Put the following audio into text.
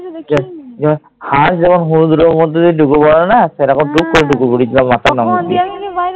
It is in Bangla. হাঁস যখন ঢুকে পরে না, তেমন পুক করে ঢুকে পরেছিলাম আমি